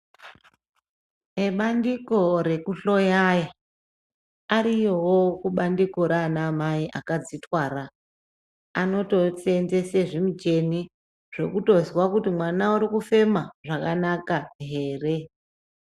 Ebandiko rekuhloyayo ariyowo kubandiko Rana amai akadzitwara anotoseenzesi zvimucheni zvekutozwa kuti mwana urikufema zvakanaka here.